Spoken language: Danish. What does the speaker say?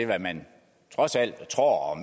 hvad man trods alt tror og